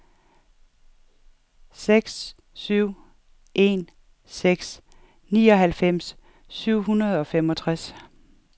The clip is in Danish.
seks syv en seks nioghalvfems syv hundrede og femogtres